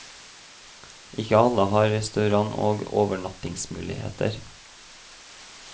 Ikke alle har restaurant og overnattingsmuligheter.